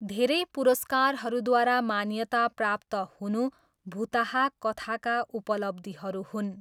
धेरै पुरस्कारहरूद्वारा मान्यता प्राप्त हुनु भुताहा कथाका उपलब्धिहरू हुन्।